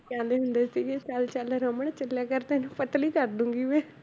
ਕਹਿੰਦੇ ਹੁੰਦੇ ਸੀਗੇ ਚੱਲ ਚੱਲ ਰਮਨ ਚੱਲਿਆ ਕਰ ਤੈਨੂੰ ਪਤਲੀ ਕਰ ਦਊਂਗੀ ਮੈਂ